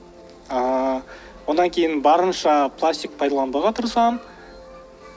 ыыы одан кейін барынша пластик пайдаланбауға тырысамын